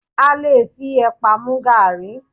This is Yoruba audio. A lè fi ẹ̀pà mu gaàrí